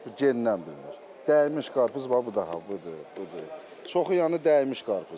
Bu gendən bilinir, dəymiş qarpız bax bu da, bu da, bu, çoxu yəni dəymiş qarpızdır.